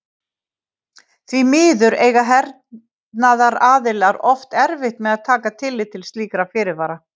Því miður eiga hernaðaraðilar oft erfitt með að taka tillit til slíkra fyrirvara.